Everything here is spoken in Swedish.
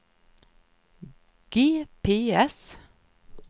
GPS